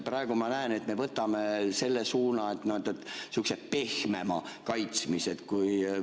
Praegu ma näen, et me võtame sihukese pehmema kaitsmise suuna.